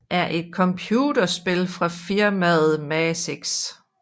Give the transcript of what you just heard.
er et computerspil fra firmaet Maxis